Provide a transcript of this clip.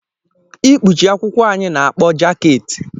Ikpuchi akwụkwọ anyị na-akpọ jaket.